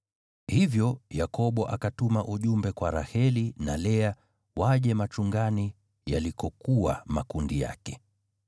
Hivyo Yakobo akatuma ujumbe kwa Raheli na Lea waje machungani yalikokuwa makundi yake.